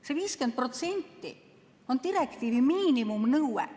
See 50% on direktiivi miinimumnõue.